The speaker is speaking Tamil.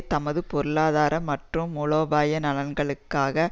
தமது பொருளாதார மற்றும் மூலோபாய நலன்களுக்காக